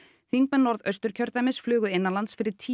þingmenn Norðausturkjördæmis flugu innanlands fyrir tíu